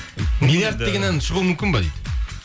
миллиярд деген ән шығуы мүмкін бе дейді